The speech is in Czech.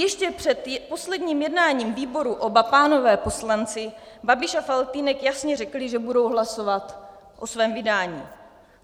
Ještě před posledním jednáním výboru oba pánové poslanci Babiš a Faltýnek jasně řekli, že budou hlasovat o svém vydání.